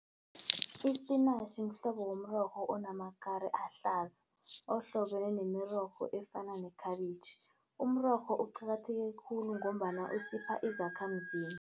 Ispinatjhi mhlobo womrorho onamakari ahlaza, ohlobene nemirorho efana nekhabitjhi. Umrorho uqakatheke khulu ngombana usipha izakhamzimba.